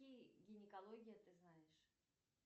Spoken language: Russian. гинекология ты знаешь